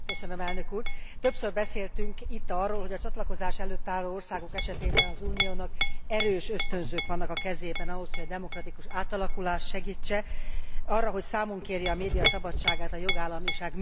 Többször beszéltünk itt arról, hogy a csatlakozás előtt álló országok esetében az Uniónak erős ösztönzők vannak a kezében ahhoz, hogy a demokratikus átalakulást segítse, arra, hogy számon kérje a média szabadságát, a jogállamiság működését.